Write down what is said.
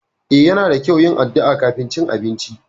Eh Yana da kyau yin addu'a kafin cin abinci.